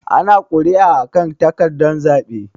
Ana kuri'a a kan takardan zaɓe.